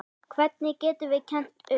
Hverjum getum við kennt um?